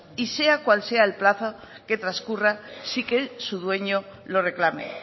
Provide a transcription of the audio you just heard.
y sea cual sea el plazo que transcurra sin que su dueño lo reclame